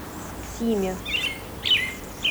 симе